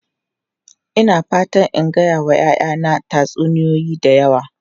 Ina fatan in gaya wa 'ya'yana tatsuniyoyi da yawa.